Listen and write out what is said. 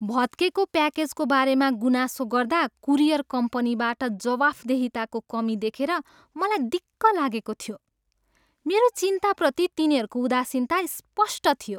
भत्केको प्याकेजको बारेमा गुनासो गर्दा कुरियर कम्पनीबाट जवाफदेहिताको कमी देखेर मलाई दिक्क लागेको थियो। मेरो चिन्ताप्रति तिनीहरूको उदासीनता स्पष्ट थियो।